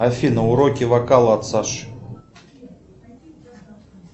афина уроки вокала от саши